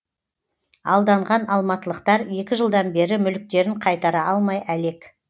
алданған алматылықтар екі жылдан бері мүліктерін қайтара алмай әлек